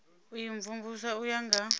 u imvumvusa u ya nga